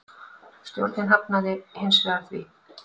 Stjórnin hafnaði hins vegar því.